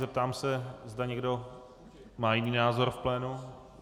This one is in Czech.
Zeptám se, zda někdo má jiný názor v plénu.